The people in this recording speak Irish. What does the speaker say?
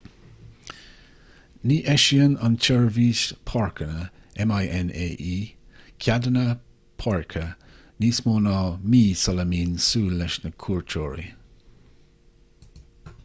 ní eisíonn an tseirbhís páirceanna minae ceadanna páirce níos mó ná mí sula mbíonn súil leis na cuairteoirí